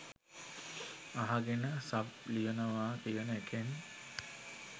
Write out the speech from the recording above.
අහගෙන සබ් ලියනවා කියන එකෙන්